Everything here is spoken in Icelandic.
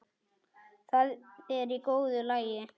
Það er í góðu lagi